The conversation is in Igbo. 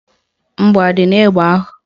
Mgbọ adị n'egbe ahụ?